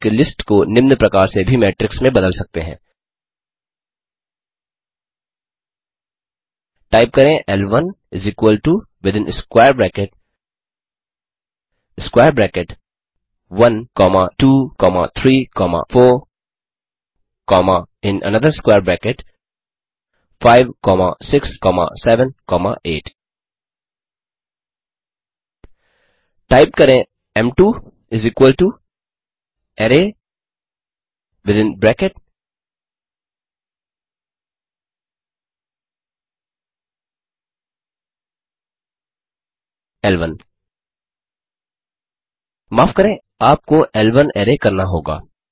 एक लिस्ट को निम्न प्रकार से भी मेट्रिक्स में बदल सकते हैं टाइप करें ल1 within square bracket square bracket 1 comma 2 comma 3 comma 4 comma in another square bracket 5 comma 6 comma 7 comma 8 type करें एम2 अराय विथिन ब्रैकेट 11 माफ़ करें आप को ल1 अराय करना होगा